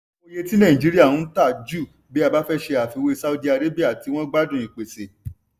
oye tí nàìjíríà n ta jù bí a fẹ́ ṣe àfiwé saudi arabia tí wọ́n gbádùn ìpèsè.